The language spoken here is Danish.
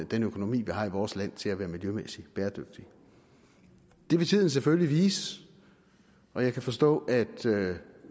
den økonomi vi har i vores land til at være miljømæssigt bæredygtig det vil tiden selvfølgelig vise og jeg kan forstå at